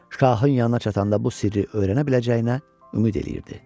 Şahın yanına çatanda bu sirri öyrənə biləcəyinə ümid eləyirdi.